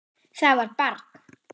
Það var barn.